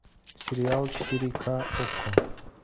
сериал четыре ка окко